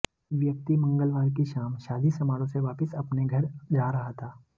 व्यक्ति मंगलवार की शाम शादी समारोह से वापस अपने घर जा रहा था